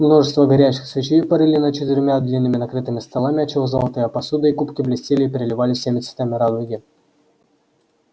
множество горящих свечей парили над четырьмя длинными накрытыми столами отчего золотая посуда и кубки блестели и переливались всеми цветами радуги